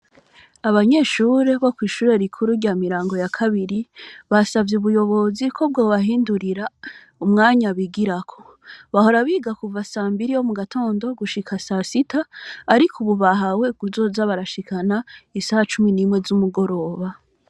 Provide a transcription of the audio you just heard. Abanyeshure bo kwishure rikuru rya miryango ya kabiri bansavye ubuyobozi ko bwibahindurira umwanya bigako bahora biga kuva sa mbiri gushika saa sita Ariko ubu Ni gushika sa kumi nimwe zumugoroba.